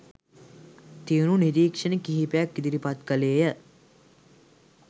තියුණු නිරීක්ෂණ කිහිපයක් ඉදිරිපත් කළේය